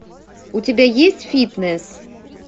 у тебя есть фитнес